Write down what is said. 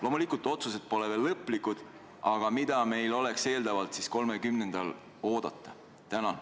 Loomulikult pole otsused veel lõplikud, aga mida meil oleks eeldatavalt 30. septembril oodata?